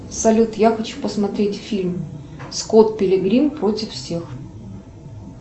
салют я хочу посмотреть фильм скот пилигрим против всех